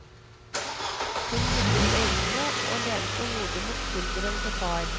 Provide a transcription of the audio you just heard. Hun lukket øynene og lente hodet mot skulderen til far.